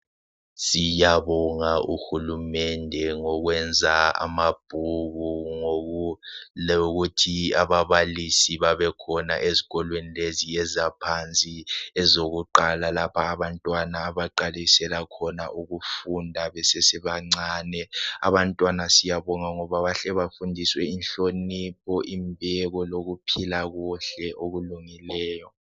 Siyabonga uHulumende ngokwenza amabhuku lokuthi ababalisi babekhona ezikolweni lezi ezaphansi ezokuqala lapha abantawana abaqalisela khona ukufunda besesebancane .Abantwana siyabonga ngoba bahle bafundiswe inhlonipho imbeko ukuphila kuhle okulungileyo